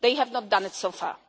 They have not done it so far.